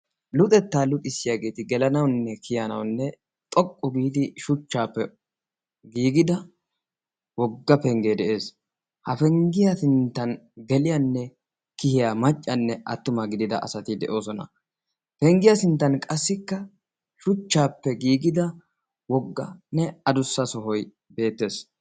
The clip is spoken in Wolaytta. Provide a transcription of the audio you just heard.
Luuxettaa luuxissiyaageeti gelanaunne kiyanaunne xoqqu giidi shuchchaappe giigida wogga penggee de'ees. ha penggiyaa sinttan geliyaanne kiyiya maccanne attumaa gidida asati de'oosona penggiyaa sinttan qassikka shuchchaappe giigida wogganne adussa sohoi beettees.